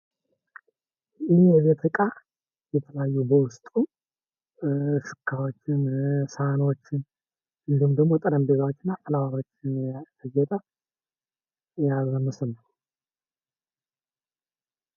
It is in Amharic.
ይህ የቤት እቃ የተለያዩ በውስጡ ሹካዎችን፣ ሳህኖችን እንዲሁም ደሞ ጠረቤዛዎችን አቀነባብሮ ያጌጠ ያበባ ሞስል ነው።